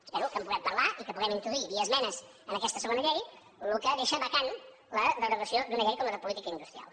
espero que en puguem parlar i que puguem introduir via esmenes en aquesta segona llei el que deixa vacant la derogació d’una llei com la de política industrial